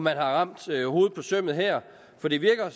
har ramt hovedet på sømmet her for det virker